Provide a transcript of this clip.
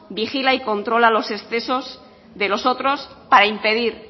vigila y controla los excesos de los otros para impedir